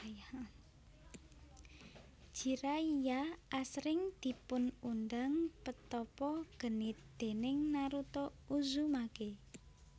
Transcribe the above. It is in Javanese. Jiraiya asring dipun undang Petapa Genit déning Naruto Uzumaki